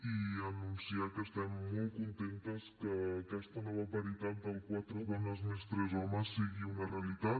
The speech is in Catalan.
i anunciar que estem molt contentes que aquesta nova paritat de quatre dones més tres homes sigui una nova realitat